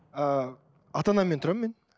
ыыы ата анаммен тұрамын мен